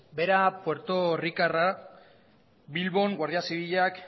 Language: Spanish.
bera puertorrikarra bilbon guardia zibilak